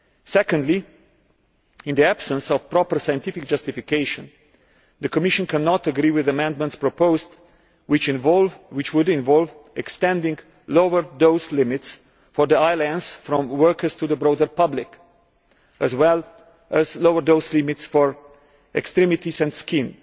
Secondly, in the absence of proper scientific justification, the Commission cannot agree with the amendments proposed which would involve extending lower dose limits for the eye lens from workers to the broader public, as well as lower dose limits for extremities and skin.